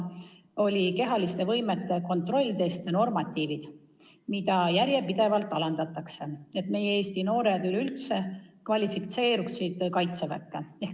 Ja see oli, et kehaliste võimete kontrolltesti normatiive järjepidevalt alandatakse, et Eesti noored üleüldse kvalifitseeruksid Kaitseväkke.